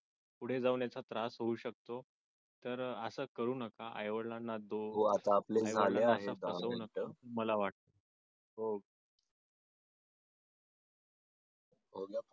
पुढे जाऊन याचा त्रास होऊ शकतो तर असं करू नका आई वडिलांना मला वाटत हो